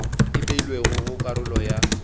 e beilwego go karolo ya